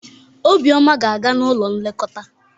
Obioma ga-aga n'ụlọ nlekọta.